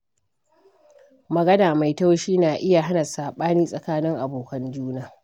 Magana mai taushi na iya hana saɓani tsakanin abokan juna.